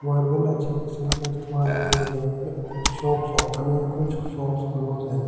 मर्गोल अच्छे किस्म का इस्तेमाल किया गया है कुछ शॉप्स ओपन है कुछ शॉप्स क्लोज है।